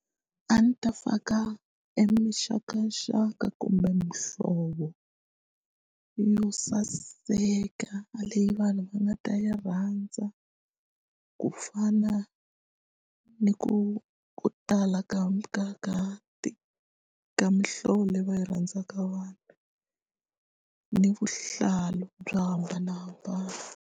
A ndzi ta faka eminxakanxaka kumbe muhlovo yo saseka leyi vanhu va nga ta yi rhandza ku fana ni ku ku tala ka ka ka ka mihlovo leyi va yi rhandzaka vanhu ni vuhlalu byo hambanahambana.